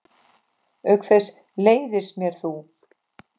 Auk þess leiðist mér þú.